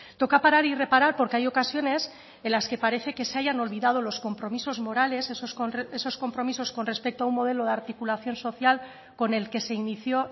toca parar y reparar porque hay ocasiones en las que parece que se hayan olvidado los compromisos morales esos compromisos con respecto a un modelo de articulación social con el que se inició